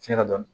Fiɲɛ dɔni